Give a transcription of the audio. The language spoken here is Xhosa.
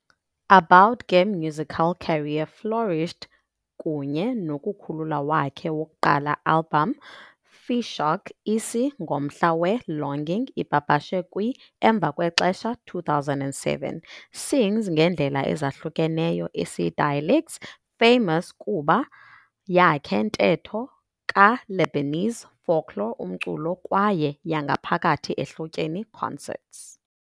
Abboud ke musical career flourished kunye nokukhulula wakhe wokuqala album "Fi Shouq", isi, ngomhla we-longing, ipapashwe kwi emva kwexesha 2007. Sings ngendlela ezahlukeneyo isi-dialects, famous kuba yakhe ntetho ka-lebanese folklore umculo kwaye yangaphakathi ehlotyeni concerts.